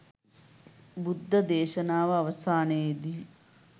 බුද්ධ දේශනාව අවසානයේදී